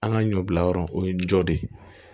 An ka ɲɔ bila yɔrɔ o ye jɔ de ye